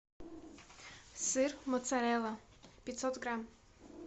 сыр моцарелла пятьсот грамм